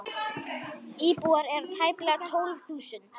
Íbúar eru tæplega tólf þúsund.